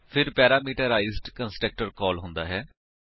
ਫਿਰ parameterised constructor call ਹੁੰਦਾ ਹੈ